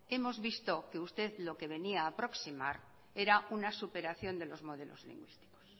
hemos visto que usted lo que venía a aproximar era una superación de los modelos lingüísticos